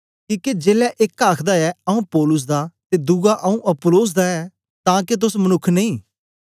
किके जेलै एक आखदा ऐ आऊँ पौलुस दा ते दुवा आऊँ अपुल्लोस दा ऐं तां के तोस मनुक्ख नेई